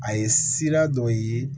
A ye sira dɔ ye